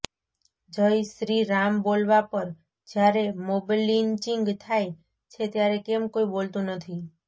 જય શ્રીરામ બોલવા પર જ્યારે મોબલિંચિંગ થાય છે ત્યારે કેમ કોઈ બોલતું નથી